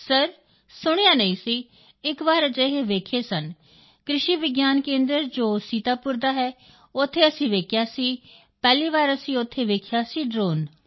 sir ਸੁਣਿਆ ਨਹੀਂ ਸੀ ਇਕ ਵਾਰ ਅਜਿਹੇ ਵੇਖੇ ਸਨ ਕ੍ਰਿਸ਼ੀ ਵਿਗਿਆਨ ਕੇਂਦਰ ਜੋ ਸੀਤਾਪੁਰ ਦਾ ਹੈ ਉੱਥੇ ਅਸੀਂ ਵੇਖਿਆ ਸੀ ਪਹਿਲੀ ਵਾਰ ਅਸੀਂ ਉੱਥੇ ਵੇਖਿਆ ਸੀ ਡ੍ਰੋਨ